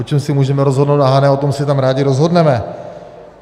O čem si můžeme rozhodnout na Hané, o tom si tam rádi rozhodneme.